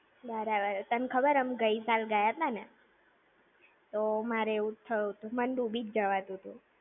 બરાબર! તને ખબર અમે ગઈ સાલ ગયાતા ને, મારે એવુજ થયું તું. મન ડૂબી જ જવાતુંતું.